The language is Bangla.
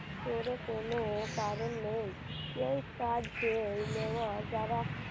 তোরে কোন কারণ নেই এই কাজে নেওয়া যারা